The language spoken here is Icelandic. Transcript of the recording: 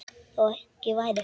Þó ekki væri.